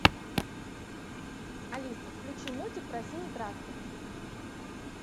алиса включи мультик про синий трактор